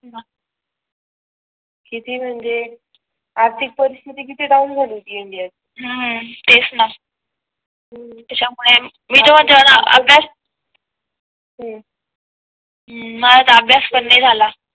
किती म्हणजे आर्थिक परिस्थिती किती डाउन झाली होती इंडिया ची हम्म तेच ना मी तर म्हणते अभ्यास हम्म माझा तर अभ्यास पण नाही झाला